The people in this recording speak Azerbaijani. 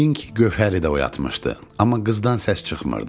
Yəqin ki, Gövhəri də oyatmışdı, amma qızdan səs çıxmırdı.